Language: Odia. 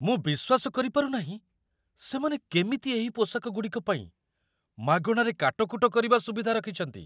ମୁଁ ବିଶ୍ୱାସ କରିପାରୁ ନାହିଁ ସେମାନେ କେମିତି ଏହି ପୋଷାକଗୁଡ଼ିକ ପାଇଁ ମାଗଣାରେ କାଟକୁଟ କରିବା ସୁବିଧା ରଖିଛନ୍ତି!